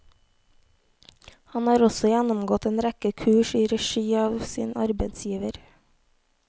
Han har også gjennomgått en rekke kurs i regi av sin arbeidsgiver.